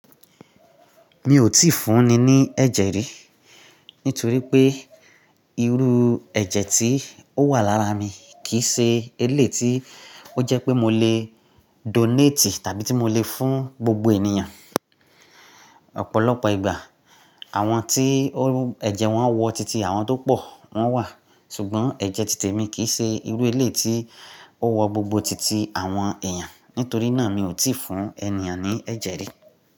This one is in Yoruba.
Mi ò tíì fún ni ní ẹ̀jẹ̀ rí, nítorí pé irú ẹ̀jẹ̀ tí ó wà lára mi kìí ṣe eléyi tí ó jẹ́ pé mo lè donate tàbí tí mo lè fún gbogbo ènìyàn. Ọ̀pọ̀lọpọ̀ ìgbà àwọn tí ẹ̀jẹ̀ wọn wọ titi àwọn tó pọ̀ wọn wà, ṣùgbọ́n ẹ̀jẹ̀ títè mi kìí ṣe irú eléyi tí ó wọ gbogbo titi àwọn èèyàn. Nítorí náà mi ò tíì fún ènìyàn ní ẹ̀jẹ̀ rí.